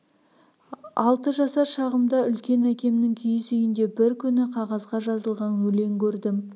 алты жасар шағымда үлкен әкемнің киіз үйінде бір күні қағазға жазылған өлең кердім